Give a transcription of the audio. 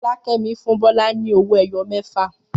Fọlákẹ́mi fún Bọ́lá ní owó-ẹyọ mẹ́fà.